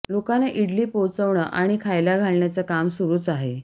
लोकांना इडली पोहोचवणं आणि खायला घालण्याचं काम सुरूच आहे